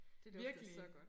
Det dufter så godt